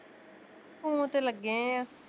Phone ਤੇ ਲੱਗੇ ਆਂ